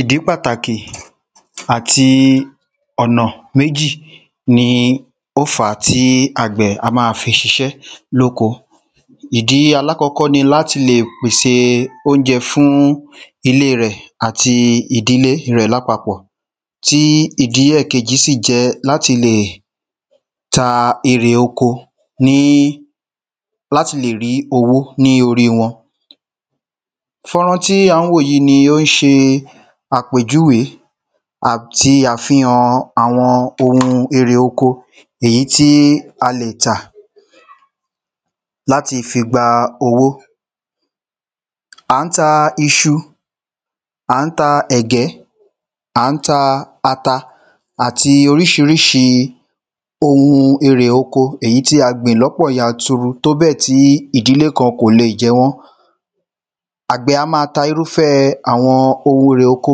Ìdí pàtàkì àti ọ̀nà méjì ni ó fàá tí àgbẹ̀ á ma fi ṣiṣẹ́ ní oko Ìdí alákọ́kó ni láti lè pèsè óunjẹ fún ilé rẹ̀ àti ìdílé rẹ̀ ní àpapọ̀ Tí ìdí ẹ̀ẹ̀kejì sì jẹ́ láti lè ta èrè oko ni láti lè rí owó ní orí wọn Fọ́nrán tí à ń wò yí ni ó ń ṣe àpèjúwe àti àfihàn àwọn oun èrè oko èyí tí a lè tà láti fi gba owó À ń ta iṣu À ń ta ẹ̀gẹ́ À ń ta ata Àti oríṣiríṣi oun èrè oko èyí tí a gbìn ní ọ̀pọ̀ yanturu tóbẹ́ẹ̀ tí ìdílé kan kò lè jẹ wọ́n Àgbẹ̀ á máa ta irúfe àwọn oun èrè oko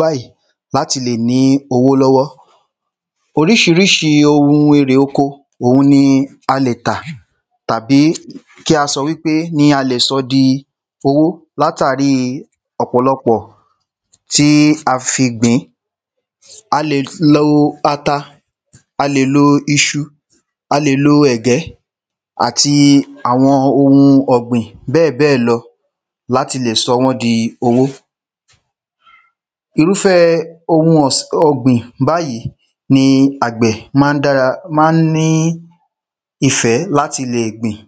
báyì láti lè ní owó lọ́wọ́ Oríṣiríṣi oun èrè oko oun ni a lè ta Tàbí kí a sọ wípé ni a lè sọ di owó látàrí ọ̀pọ̀lọpọ̀ tí a fi gbìn-ín A lè lo ata A lè lo iṣu A lè lo ẹ̀gẹ́ Àti àwọn oun ọ̀gbìn bẹ́ẹ̀bẹ́ẹ̀ lọ láti lè sọ wọ́n di owó Irúfé oun ọ̀gbìn báyì ni àgbẹ̀ ma ń dára ma ń ní ìfẹ́ sí láti lè gbìn